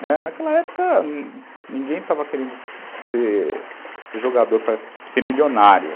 Né, naquela época, ninguém estava querendo ser jogador para ser milionário.